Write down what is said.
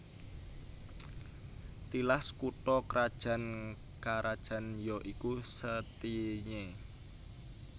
Tilas kutha krajan karajan ya iku Setinye